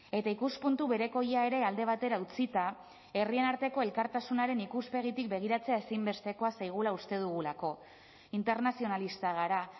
eta ikuspuntu berekoia ere alde batera utzita herrien arteko elkartasunaren ikuspegitik begiratzea ezinbestekoa zaigula uste dugulako internazionalistak gara